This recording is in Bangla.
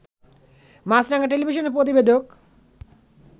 মাছরাঙা টেলিভিশনের প্রতিবেদক